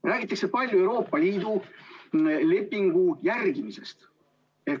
Räägitakse palju Euroopa Liidu lepingu järgimisest.